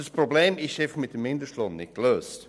Dieses Problem wird mit dem Mindestlohn nicht gelöst.